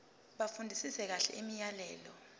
bafundisise kahle imiyalelo